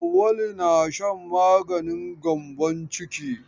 Auwalu na shan maganin gyambon ciki.